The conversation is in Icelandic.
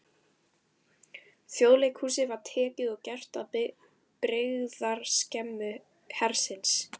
Þjóðleikhúsið var tekið og gert að birgðaskemmu hersins.